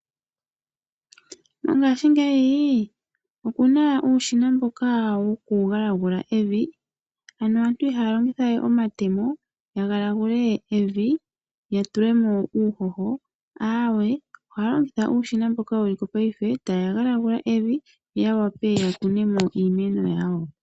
Mongashingeyi oku na uushina mboka woku galagula evi , ano aantu ihaya longithawe omatemo ya galagule evi , ya tulemo uuhoho , ohaya longitha uushina wokugalagula mongashingeyi, ya wa pe okukunamo iimeno yawo .